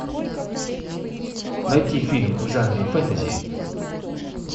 найти фильм в жанре фэнтези